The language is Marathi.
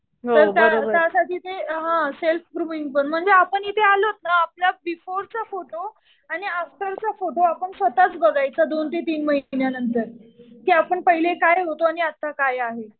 तर असं तिथे सेल्फ ग्रूमिंग पण म्हणजे आपण इथे आलो ना आपला बिफ़ोरचा फोटो आणि आफ्टरचा फोटो आपण स्वतःच बघायचा. दोन ते तीन महिन्या नंतर. कि आपण पहिले काय होतो आणि आता काय आहे.